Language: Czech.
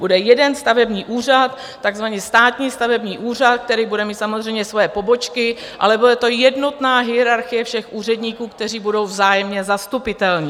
Bude jeden stavební úřad, takzvaný státní stavební úřad, který bude mít samozřejmě svoje pobočky, ale bude to jednotná hierarchie všech úředníků, kteří budou vzájemně zastupitelní.